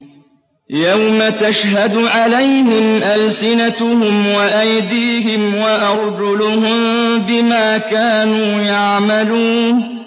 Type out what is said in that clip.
يَوْمَ تَشْهَدُ عَلَيْهِمْ أَلْسِنَتُهُمْ وَأَيْدِيهِمْ وَأَرْجُلُهُم بِمَا كَانُوا يَعْمَلُونَ